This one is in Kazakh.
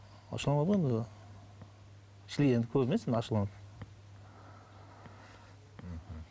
ашуланады ғой енді шіли енді көп емес енді ашуланатыны